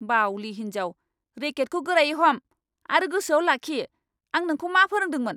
बाउलि हिन्जाव! रेकेटखौ गोरायै हम आरो गोसोआव लाखि आं नोंखौ मा फोरोंदोंमोन!